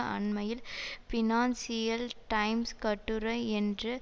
அண்மையில் Financial Times கட்டுரை என்று